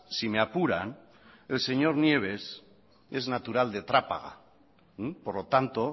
si me apuran el señor nieves es natural de trápaga por lo tanto